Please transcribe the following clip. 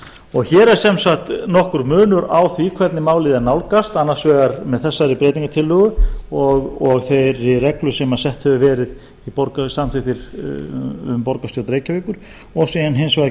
ráði hér er sem sagt nokkur munur á því hvernig málið er nálgast annars vegar með þessari breytingartillögu og þeirri reglu sem sett hefur verið og samþykkt í borgarstjórn reykjavíkur og síðan hins vegar